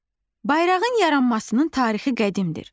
Bayrağın yaranmasının tarixi qədimdir.